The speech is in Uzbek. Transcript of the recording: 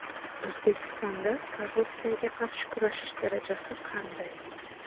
O‘zbekistonda korrupsiyaga qarshi kurashish darajasi qanday?.